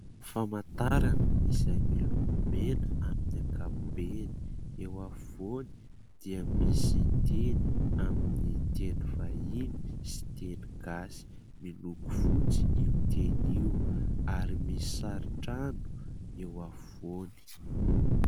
Famantarana izay miloko mena amin'ny ankapobeny : eo afovoany dia misy teny amin'ny teny vahiny sy teny gasy. Miloko fotsy io teny io ary misy sarin-trano eo afovoany.